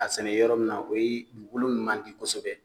A sɛnɛ yɔrɔ min na o ye dugukolo min man di kosɛbɛ